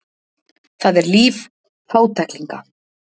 Það er líf fátæklinga.